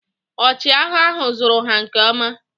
Ọchịagha ahụ zụrụ ha nke ọma